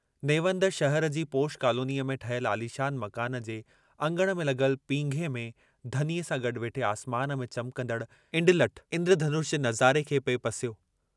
नेवंद शहर जी पोश कॉलोनीअ में ठहियल आलीशान मकान जे अङण में लगल पींघे में धनीअ सां गडु वेठे आसमान में चमकंदड़ इंडलठ (इन्द्रधनुष) जे नजारे खे पिए पसियो।